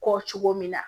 Kɔ cogo min na